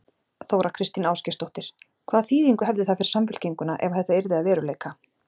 Þóra Kristín Ásgeirsdóttir: Hvaða þýðingu hefði það fyrir Samfylkinguna ef að þetta yrði að veruleika?